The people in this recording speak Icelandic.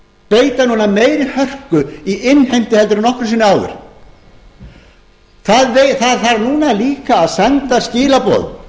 beita núna meiri hörku í innheimtu en nokkru sinni áður það þarf núna líka að senda skilaboð